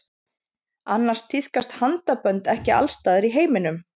annars tíðkast handabönd ekki alls staðar í heiminum